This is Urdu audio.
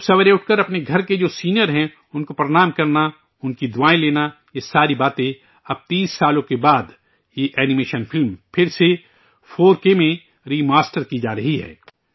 صبح اٹھ کر اپنے گھر کے جو سینئر ہیں، ان کو پرنام کرنا ، ان کا آشرواد لینا، یہ ساری باتیں اب 30 برسوں کے بعد یہ اینی میشن فلم پھر سے 4 کے میں ری ماسٹر کی جارہی ہے